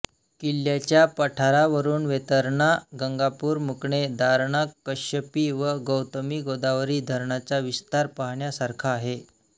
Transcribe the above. किल्ल्याच्या पठारावरुन वेतरणा गंगापूर मुकणे दारणा कश्यपी व गौतमीगोदावरी धरणाचा विस्तार पाहण्यासारखा आहे